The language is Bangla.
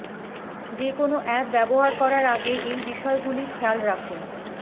যে কোন অ্যাপ ব্যাবহার করার আগে এই বিষয় গুলি খেয়াল রাখুন